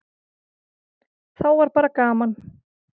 Þá var bara gaman.